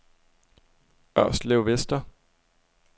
Ørslevvester